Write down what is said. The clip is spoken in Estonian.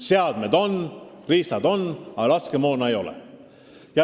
Seadmed on, riistad on, aga laskemoona ei ole.